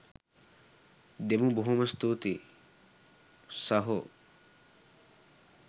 දෙමු බොහොම ස්තූතියි සහෝ.